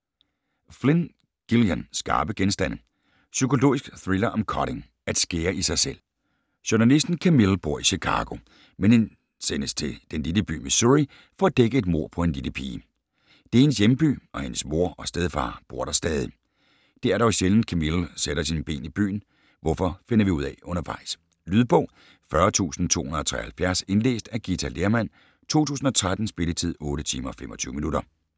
Flynn, Gillian: Skarpe genstande Psykologisk thriller om cutting, at skære i sig selv. Journalisten Camille bor i Chicago, men sendes til den lille by Missouri for at dække et mord på en lille pige. Det er hendes hjemby, og hendes mor og stedfar bor der stadig. Det er dog sjældent Camille sætter sine ben i byen. Hvorfor finder vi ud af undervejs. Lydbog 40273 Indlæst af Githa Lehrmann, 2013. Spilletid: 8 timer, 25 minutter.